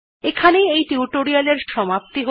এখানেই এই টিউটোরিয়াল্ এর সমাপ্তি হল